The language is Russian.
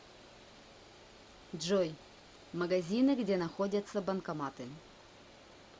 джой магазины где находятся банкоматы